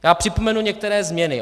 Já připomenu některé změny.